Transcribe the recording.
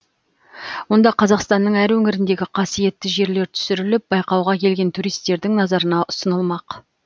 онда қазақстанның әр өңіріндегі қасиетті жерлер түсіріліп байқауға келген туристердің назарына ұсынылмақ